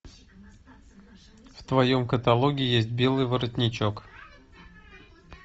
в твоем каталоге есть белый воротничок